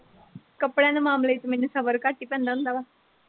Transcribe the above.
ਕਪੜਿਆਂ ਦੇ ਮਾਮਲਿਆਂ ਚ ਮੈਨੂੰ ਸਬਰ ਘੱਟ ਹੀ ਪੈਂਦਾ ਹੁੰਦਾ ਵਾ।